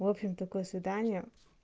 в общем такое свидание